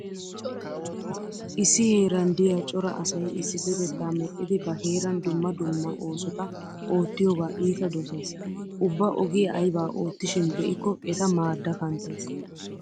Issi heeran diya cora asay issippetettaa medhdhidi ba heeran dumma dumma oosota oottiyogaa iita dosays. Ubba ogiya aybaa loyttishin be'ikko eta maadda kanttays.